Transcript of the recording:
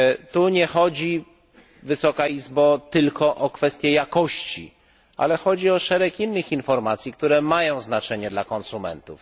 Tu nie chodzi tylko o kwestie jakości, ale chodzi o szereg innych informacji, które mają znaczenie dla konsumentów.